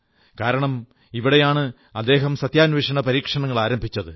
കാരണം ഇവിടെയാണ് അദ്ദേഹം സത്യാന്വേഷണ പരീക്ഷണങ്ങൾ ആരംഭിച്ചത്